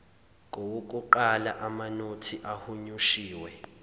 kowokuqala amanothi ahunyushiwe